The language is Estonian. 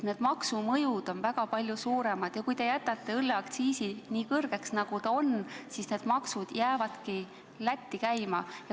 Nii et maksumõjud on väga suured ja kui te jätate õlleaktsiisi nii kõrgeks, nagu te pakute, siis need maksud jäävad ka edaspidi Lätti.